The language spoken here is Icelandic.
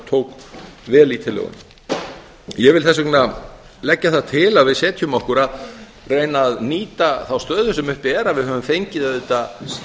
tók vel í tillöguna ég vil þess vegna leggja það til að við setjum okkur að reyna að nýta þá stöðu sem uppi er að við höfum fengið auðvitað